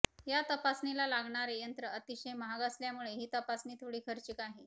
या तपासणीला लागणारे यंत्र अतिशय महाग असल्यामुळे ही तपासणी थोडी खार्चिक आहे